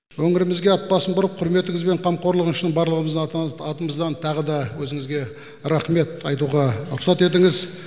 өңірімізге ат басын бұрып құрметіңіз бен қамқорлығыңыз үшін барлығымыздың атымыздан тағы да өзіңізге рахмет айтуға рұқсат етіңіз